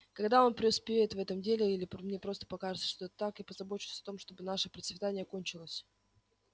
когда он преуспеет в этом деле или мне просто покажется что это так я позабочусь о том чтобы наше процветание кончилось